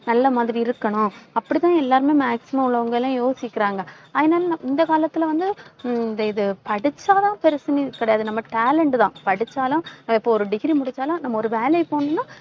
நல்ல மாதிரி இருக்கணும். அப்படிதான் எல்லாருமே maximum உள்ளவங்க எல்லாம் யோசிக்கிறாங்க. அதனால, இந்த காலத்துல வந்து ஹம் இந்த இது படிச்சாதான் பெருசுன்னு கிடையாது. நம்ம talent தான். படிச்சாலும் இப்ப ஒரு degree முடிச்சாலும் நம்ம ஒரு வேலைக்கு போகணும்ன்னா,